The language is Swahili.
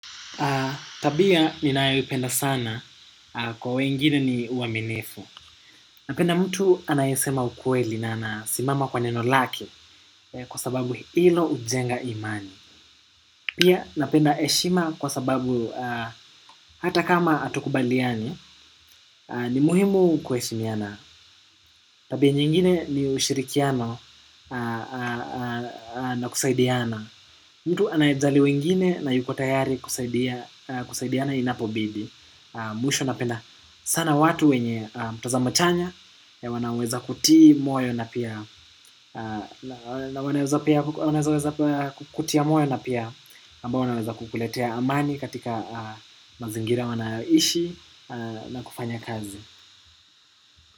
Tabia ninaoipenda sana kwa wengine ni uaminifu. Napenda mtu anayesema ukueli na nasimama kwa neno lake kwa sababu hilo ujenga imani. Pia napenda eshima kwa sababu hata kama hatukubaliani ni muhimu kueshimiana. Tabia nyingine ni ushirikiano na kusaidiana. Mtu anayejali wengine na yuko tayari kusaidiana inapobidi. Mwisho napenda sana watu wenye mtazamo chanya wanaweza kutia moyo na pia na wanaweza kukutia moyo na pia ambao wanaweza kukuletea amani katika mazingira wanaoishi na kufanya kazi.